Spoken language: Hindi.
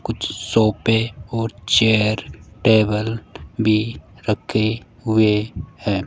कुछ सोफे और चेयर टेबल भी रखे हुए हैं।